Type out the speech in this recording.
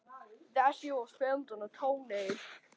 Hringdi í sama lækni